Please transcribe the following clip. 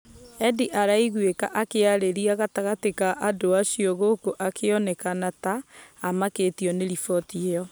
Edd araiguĩka akĩaria gatagati ka andũ acio gũkũ akĩonekana ta amakĩtio nĩ riboti ĩyo.